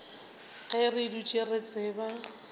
ge re dutše re tseba